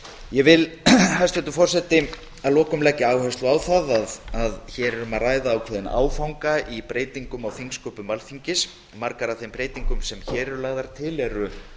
ég vil að lokum leggja áherslu á það hæstvirtur forseti að hér er um að ræða ákveðinn áfanga í breytingum á þingsköpum alþingis margar af þeim breytingum sem hér eru lagðar til eru